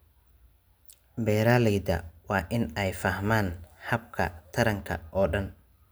Beeralayda waa in ay fahmaan habka taranka oo dhan.